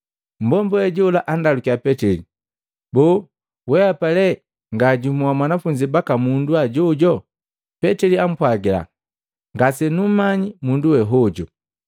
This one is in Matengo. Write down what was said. Mmbomba we jola andalukiya Petili, “Boo wehapa le nga jumu wa banafunzi baka mundu hajojo?” Petili ampwagila, “Ngasenummanyi mundu we hojo!”